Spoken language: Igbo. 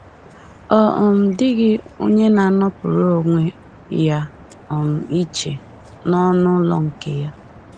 Ọ um dịghị onye na-anọpụrụ onwe ya um iche n’ọnụ ụlọ nke ya